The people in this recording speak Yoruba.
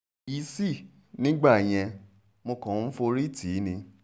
kò yìísì nígbà yẹn mo kàn ń forí tì í ni